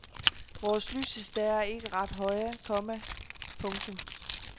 Vores lysestager er ikke ret høje, komma . punktum